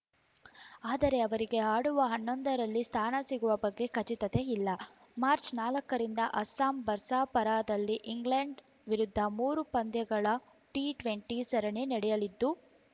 ಆದರೆ ಅವರಿಗೆ ಆಡುವ ಹನ್ನೊಂದರಲ್ಲಿ ಸ್ಥಾನ ಸಿಗುವ ಬಗ್ಗೆ ಖಚಿತತೆ ಇಲ್ಲ ಮಾರ್ಚ್ ನಾಲ್ಕರಿಂದ ಅಸ್ಸಾಂನ ಬರ್ಸಾಪರಾದಲ್ಲಿ ಇಂಗ್ಲೆಂಡ್‌ ವಿರುದ್ಧ ಮೂರು ಪಂದ್ಯಗಳ ಟಿ ಟ್ವೆಂಟಿ ಸರಣಿ ನಡೆಯಲಿದ್ದು